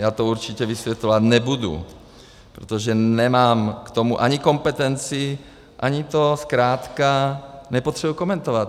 Já to určitě vysvětlovat nebudu, protože nemám k tomu ani kompetenci, ani to zkrátka nepotřebuji komentovat.